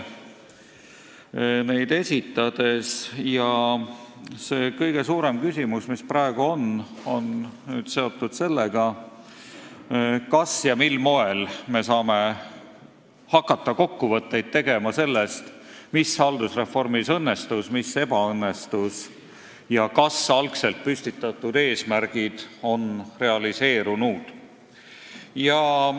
Praegu on kõige suurem küsimus seotud sellega, kas ja mil moel me saame hakata tegema kokkuvõtteid sellest, mis haldusreformis õnnestus ja mis ebaõnnestus ning kas algselt püstitatud eesmärgid on realiseerunud.